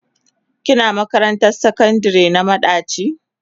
Kina makarantar sakandire na madaci?